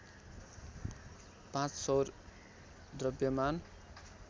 पाँच सौर द्रव्यमान